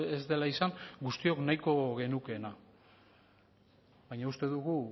ez dela izan guztiok nahiko genukeena baina uste dugu